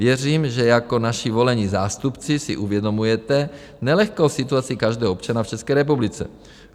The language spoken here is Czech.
Věřím, že jako naši volení zástupci si uvědomujete nelehkou situaci každého občana v České republice.